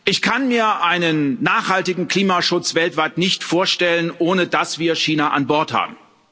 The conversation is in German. Ich kann mir einen nachhaltigen Klimaschutz weltweit nicht vorstellen, ohne dass wir China an Bord haben.